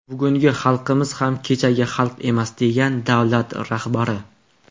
Bugungi xalqimiz ham kechagi xalq emas”, degan davlat rahbari.